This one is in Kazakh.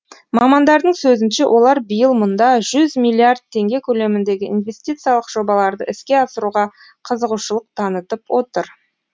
мамандардың сөзінше олар биыл мұнда жүз миллиард теңге көлеміндегі инвестициялық жобаларды іске асыруға қызығушылық танытып отыр